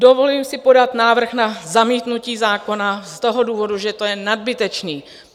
Dovoluji si podat návrh na zamítnutí zákona z toho důvodu, že to je nadbytečné.